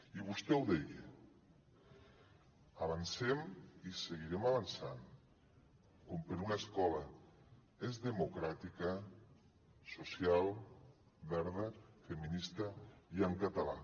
i vostè ho deia avancem i seguirem avançant com per una escola més democràtica social verda feminista i en català